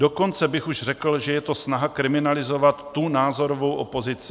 Dokonce bych už řekl, že je to snaha kriminalizovat tu názorovou opozici.